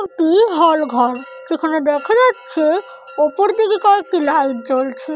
একটি হল ঘর যেখানে দেখা যাচ্ছে উপর দিকে কয়েকটি লাইট জ্বলছে।